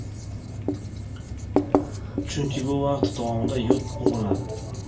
Chunki bu vaqt davomida yod bug‘lanadi.